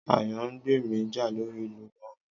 Àyàngbemi jà lórí ìlù gángan